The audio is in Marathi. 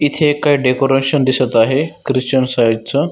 इथे एक डेकोरेशन दिसत आहे ख्रिश्चन साइड च.